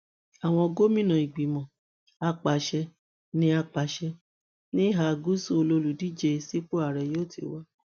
àwọn gómìnà ìgbìmọ apàṣẹ ní apàṣẹ ní ìhà gúúsù lọlùdíje sípò ààrẹ yóò ti wá